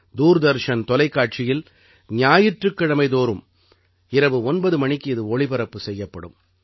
தூர்தர்ஷன் தொலைக்காட்சியில் ஞாயிற்றுக்கிழமை தோறும் இரவு 9 மணிக்கு இது ஒளிபரப்பு செய்யப்படும்